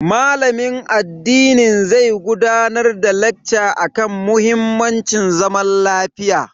Malamin addinin zai gudanar da lacca akan muhimmancin zaman lafiya.